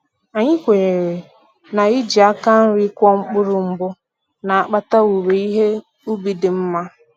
E kwenyere na-iji aka nri kụọ mkpụrụ mbụ na-akpata owuwe ihe ubi dị nma